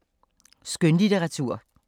Skønlitteratur